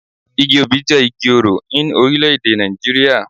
Igi obì jé Igi orò in Orílèdè Nàìjíríà